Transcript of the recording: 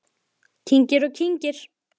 Kyngir og kyngir.